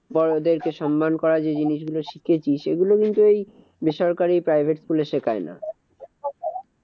বড়দেরকে সন্মান করার যে জিনিসগুলো শিখেছি সেগুলো কিন্তু এই বেসরকারি private school এ শেখায় না।